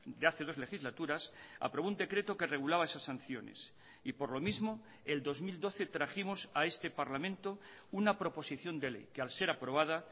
de hace dos legislaturas aprobó un decreto que regulaba esas sanciones y por lo mismo el dos mil doce trajimos a este parlamento una proposición de ley que al ser aprobada